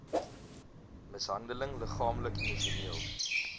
mishandeling liggaamlik emosioneel